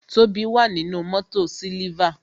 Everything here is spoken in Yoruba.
Tobi wà nínú mótò siliva